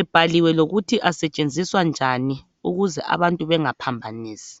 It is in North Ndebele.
ebhaliwe lokuthi asetshenziswa njani ukuze abantu bengaphambanisi.